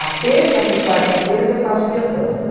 As terças e quartas-feiras eu faço biodança.